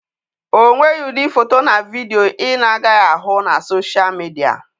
O nweghị ụdị foto na vidio ị na-agaghị ahụ na soshal midia.